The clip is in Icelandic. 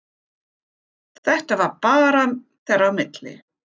Þetta var bara þeirra á milli.